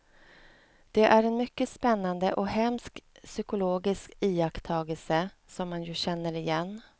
Det är en mycket spännande och hemsk psykologisk iakttagelse, som man ju känner igen.